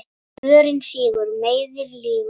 Mörinn sýgur, meiðir, lýgur.